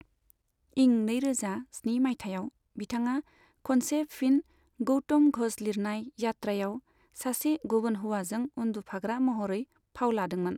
इं नैरोजा स्नि मायथाइयाव बिथाङा खनसे फिन गौतम घ'ष लिरनाय यात्रायाव सासे गुबुन हौवाजों उन्दुफाग्रा महरै फाव लादोंमोन।